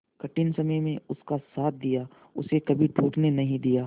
कठिन समय में उसका साथ दिया उसे कभी टूटने नहीं दिया